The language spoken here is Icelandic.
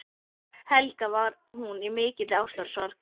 Helga: Var hún í mikilli ástarsorg?